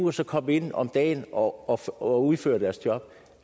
og så komme ind om dagen og og udføre deres job